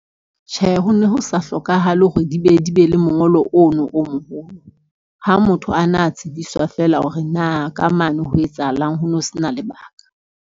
Tjhe, ho ne ho sa hlokahale hore di be di be le mongolo ono o moholo. Ha motho ana a tsebiswa feela hore na ka mane ho etsahalang ho no sena lebaka.